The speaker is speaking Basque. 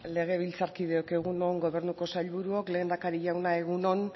legebiltzarkideok egun on gobernuko sailburuok lehendakari jauna egun on